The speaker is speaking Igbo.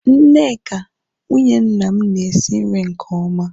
Nneka, nwunye nna m na-esi nri nke oma